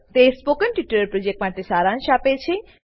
તે spoken tutorial પ્રોજેક્ટનો સારાંશ આપે છે